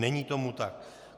Není tomu tak.